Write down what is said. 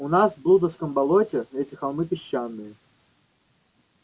у нас в блудовом болоте эти холмы песчаные